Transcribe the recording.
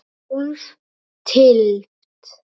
Hálf tylft?